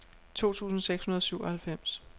to tusind seks hundrede og syvoghalvfems